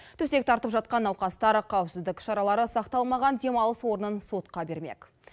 төсек тартып жатқан науқастар қауіпсіздік шаралары сақталмаған демалыс орнын сотқа бермек